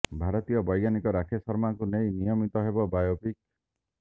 ଭାରତୀୟ ବୌଜ୍ଞାନିକ ରାକେଶ ଶର୍ମାଙ୍କୁ ନେଇ ନିର୍ମିତ ହେବ ବାୟୋପିକ୍